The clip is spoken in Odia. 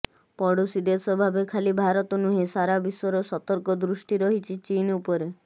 ପଡ଼ୋଶୀ ଦେଶ ଭାବେ ଖାଲି ଭାରତ ନୁହେଁ ସାରା ବିଶ୍ୱର ସତର୍କ ଦୃଷ୍ଟି ରହିଛି ଚୀନ ଉପରେ